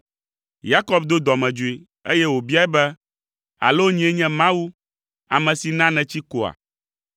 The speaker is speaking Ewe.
Yakob do dɔmedzoe, eye wòbiae be, “Alo nyee nye Mawu, ame si na nètsi koa?”